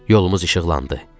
Yolumuz işıqlandı.